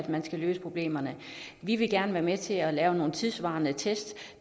man skal løse problemerne vi vil gerne være med til at lave nogle tidssvarende test